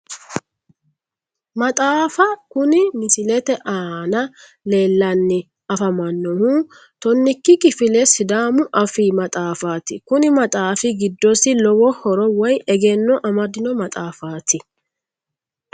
Maxaafa kuni misilete aana leellannj afamannohu tonnikki kifile sidaamu afii maxaafaati kuni maxaafi giddosi lowo horo woyi egenno amadino maxaafaati